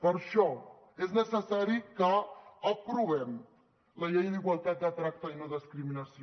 per això és necessari que aprovem la llei d’igualtat de tracte i no discriminació